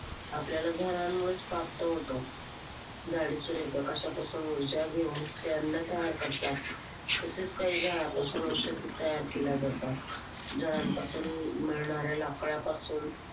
आपल्याला झाडांमुळेच प्राप्त होतो. झाडं सूर्यप्रकाशापासून ऊर्जा घेऊन ते अन्न तयार करतात. तसेच काही झाडांपासून औषध तयार केले जाते. झाडांपासून मिळणाऱ्या लाकडापासून